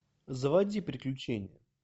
заводи приключения